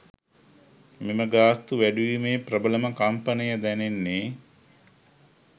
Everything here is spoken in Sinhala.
මෙම ගාස්තු වැඩිවීමේ ප්‍රබලම කම්පනය දැනෙන්නේ